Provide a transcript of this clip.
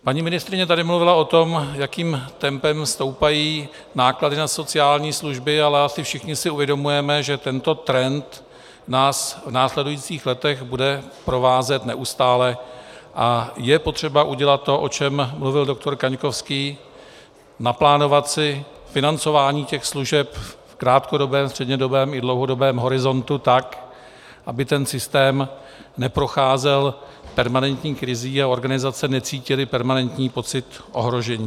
Paní ministryně tady mluvila o tom, jakým tempem stoupají náklady na sociální služby, ale asi všichni si uvědomujeme, že tento trend nás v následujících letech bude provázet neustále a je potřeba udělat to, o čem mluvil doktor Kaňkovský, naplánovat si financování těch služeb v krátkodobém, střednědobém i dlouhodobém horizontu, tak aby ten systém neprocházel permanentní krizí a organizace necítily permanentní pocit ohrožení.